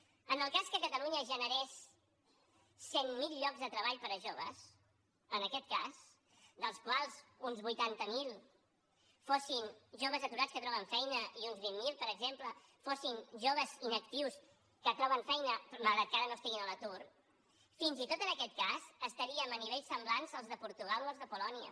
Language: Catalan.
en el cas que catalunya generés cent mil llocs de treball per a joves en aquest cas dels quals uns vuitanta mil fossin joves aturats que troben feina i uns vint mil per exemple fossin joves inactius que troben feina malgrat que ara no estiguin a l’atur fins i tot en aquest cas estaríem a nivells semblants als de portugal o als de polònia